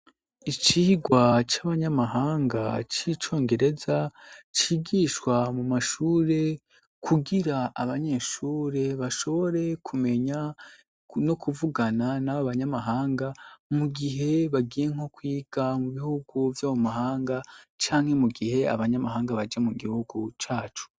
Icigwa cy'abanyamahanga c'icongereza cigishwa mu mashure kugira abanyeshuri bashobore kumenya no kuvugana n'ab abanyamahanga, mu gihe bagiye nko kwiga mu bihugu byamu mahanga canke mu gihe abanyamahanga baje mu gihugu cacu.